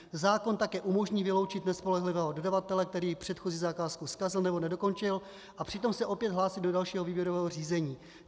Zákon také umožní vyloučit nespolehlivého dodavatele, který předchozí zakázku zkazil nebo nedokončil, a přitom se opět hlásí do dalšího výběrového řízení.